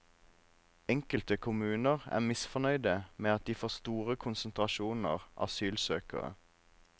Enkelte kommuner er misfornøyde med at de får store konsentrasjoner asylsøkere.